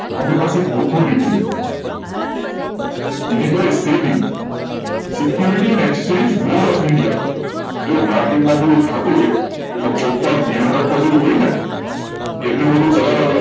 authority છે Security Exchange Board of India જો market મા બધુ થતું હોય એમાં કોકમાં ધ્યાન રાખવા જેવુ હોય ને એમને બધુ ચલાવા દેવાનુ